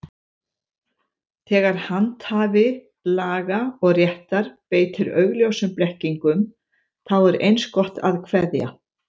Þegar handhafi laga og réttar beitir augljósum blekkingum, þá er eins gott að kveðja.